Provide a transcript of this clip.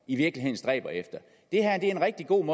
i virkeligheden stræber efter det her er en rigtig god